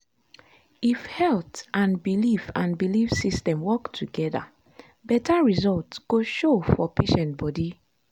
if health and belief and belief system work together better result go show for patient body.